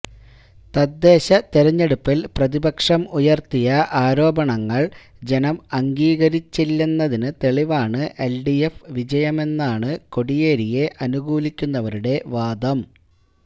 തദ്ദേശ തെരഞ്ഞെടുപ്പില് പ്രതിപക്ഷം ഉയര്ത്തിയ ആരോപണങ്ങള് ജനം അംഗീകരിച്ചില്ലെന്നതിന് തെളിവാണ് എല്ഡിഎഫ് വിജയമെന്നാണ് കോടിയേരിയെ അനുകൂലിക്കുന്നവരുടെ വാദം